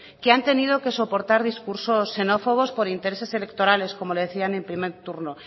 que han tenido que soportar discursos xenófobos por intereses electorales como le decía en el primer turno